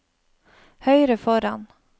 høyre foran